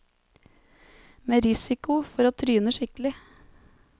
Med risiko for å tryne skikkelig.